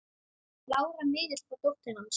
Lára miðill var dóttir hans.